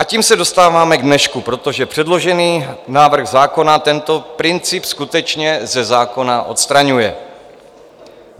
A tím se dostáváme k dnešku, protože předložený návrh zákona tento princip skutečně ze zákona odstraňuje.